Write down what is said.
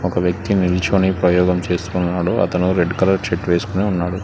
ఒక వ్యక్తి నిలుచొని ప్రయోగం చేస్తూ ఉన్నాడు అతను రెడ్ కలర్ షర్ట్ వేసుకొని ఉన్నాడు.